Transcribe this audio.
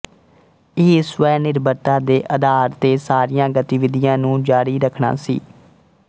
ਇਹ ਸਵੈਨਿਰਭਰਤਾ ਦੇ ਅਧਾਰ ਤੇ ਸਾਰੀਆਂ ਗਤੀਵਿਧੀਆਂ ਨੂੰ ਜਾਰੀ ਰੱਖਣਾ ਸੀ